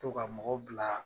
To ka mɔgɔ bila